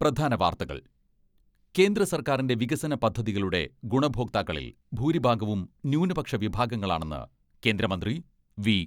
പ്രധാന വാർത്തകൾ കേന്ദ്ര സർക്കാറിന്റെ വികസന പദ്ധതികളുടെ ഗുണഭോക്താക്കളിൽ ഭൂരിഭാഗവും ന്യൂനപക്ഷ വിഭാഗങ്ങളാണെന്ന് കേന്ദ്രമന്ത്രി വി.